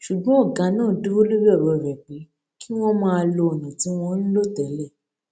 ṣùgbọn ọgá náà dúró lórí ọrọ rẹ pé kí wọn máa lo ọnà tí wọn ń lò tẹlẹ